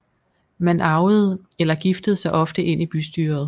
Man arvede eller giftede sig ofte ind i bystyret